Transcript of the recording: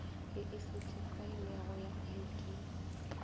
ye e sethifailwego ya id